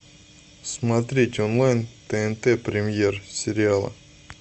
смотреть онлайн тнт премьер сериалы